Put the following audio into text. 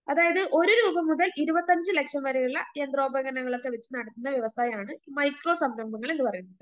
അതായത് ഒരു രൂപ മുതൽ ഇരുപത്തഞ്ച് ലക്ഷം വരെയുള്ള യന്ത്രോപകരണങ്ങൾളക്കെ വെച്ച് നടത്തുന്ന വ്യവസായമാണ് മൈക്രോ സംരംഭങ്ങൾ എന്നു പറയുന്നത്.